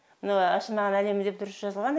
мына ашылмаған әлемі деп дұрыс жазылған